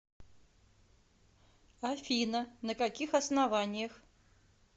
афина на каких основаниях